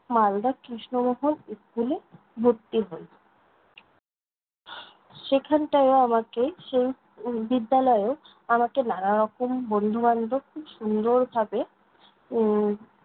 Malda Krishnamohan school এ ভর্তি হই। সেখানটাও আমাকে সেই উম বিদ্যালয়েও আমাকে নানারকম বন্ধু-বান্ধব খুব সুন্দরভাবে উম